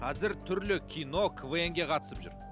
қазір түрлі кино квн ге қатысып жүр